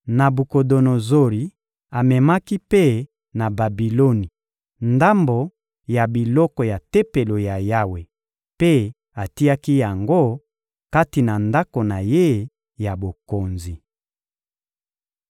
Nabukodonozori amemaki mpe na Babiloni ndambo ya biloko ya Tempelo ya Yawe mpe atiaki yango kati na ndako na ye ya bokonzi.